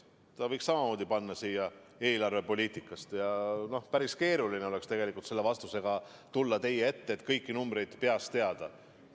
Ta võiks samamoodi märkida siia "Eelarvepoliitika" ja mul oleks päris keeruline tegelikult selle vastusega teie ette tulla, kõiki numbreid peast teada.